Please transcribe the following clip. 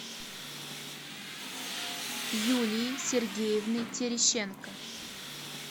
юлии сергеевны терещенко